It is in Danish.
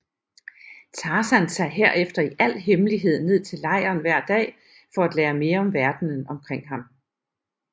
Tarzan tager herefter i al hemmelighed ned til lejren hver dag for at lære mere om verdenen omkring ham